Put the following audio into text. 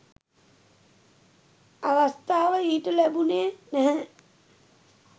අවස්ථාව ඊට ලැබුණේ නැහැ.